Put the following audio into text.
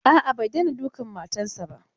A'a, bai daina dukan matan sa.